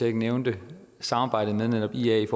ikke nævnte samarbejdet med netop ia i